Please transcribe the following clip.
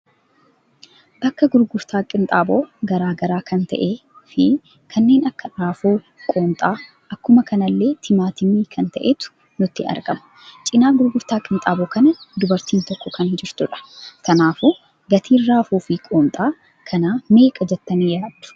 Bakka gurgurtaa qinxaaboo garagaraa kan ta'e fi kanneen akka raafuu ,qoonxaa, akkuma kanallee timaatiimi kan ta'etu nutti argama. Cina gurgurtaa qinxaaboo kana dubarri tokko kan jirtudha. Kanaafuu gatiin raafuu fi qoonxaa kana meeqadha jettani yaaddu?